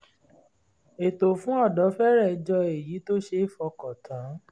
ètò fún ọ̀dọ́ fẹ́rẹ̀ jọ èyí tó ṣe é fọkàn tán